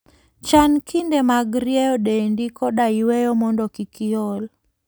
Chan kinde mag rieyo dendi koda yueyo mondo kik iol.